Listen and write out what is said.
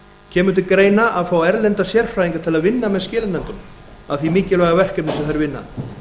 kemur til greina að fá erlenda sérfræðinga til að vinna með skilanefndunum að því mikilvæga verkefni sem þær vinna